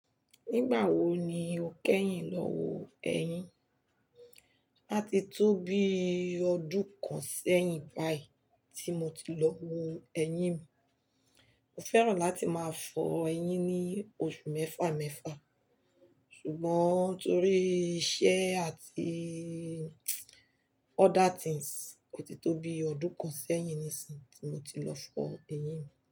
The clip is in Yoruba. Nígbà wo ni o kẹ́yìn lọ wo ẹyin? A ti tó bi ọdún kan sẹ́yìn báyìí tí mo ti lọ wo ẹyin mi. Mo fẹ́ràn láti máa fọ ẹyin ní oṣù mẹ́fà mẹ́fà, ṣùgbọ́n torí iṣẹ́ àti other things, ò ti tó bi ọdún kan sẹ́yìn níìsín tí mo ti lọ fọ ẹyin mi.